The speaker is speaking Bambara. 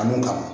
A don kama